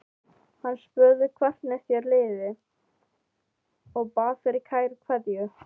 Hann spurði hvernig þér liði og bað fyrir kæra kveðju.